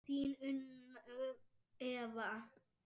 Þín Unnur Eva.